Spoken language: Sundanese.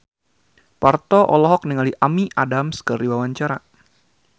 Parto olohok ningali Amy Adams keur diwawancara